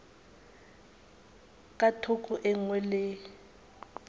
ka thoko e nngwe le